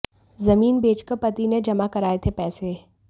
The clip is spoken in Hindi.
जमीन बेच कर पति ने जमा कराए थे पैसे